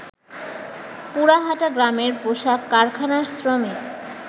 পুরাহাটা গ্রামের পোশাক কারখানার শ্রমিক